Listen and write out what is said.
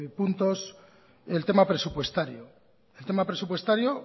puntos el tema presupuestario el tema presupuestario